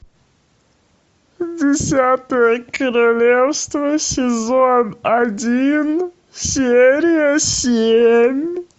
десятое королевство сезон один серия семь